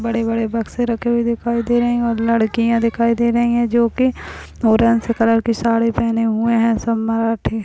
बड़े-बड़े बक्से रखे हुए दिखाई दे रहे हैं और लड़कियाँ दिखाई दे रही हैं जोकि ऑरेंज कलर की साड़ी पहने हुए हैं सब मराठी--